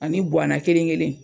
Ani bɔana kelen kelen in.